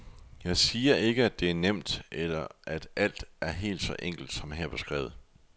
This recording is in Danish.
Jeg siger ikke, at det er nemt, eller at alt er helt så enkelt som her beskrevet.